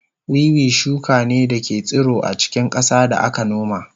Wiwi shuka ne da ke tsiro a cikin ƙasa da aka noma